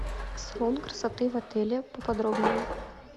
салон красоты в отеле поподробнее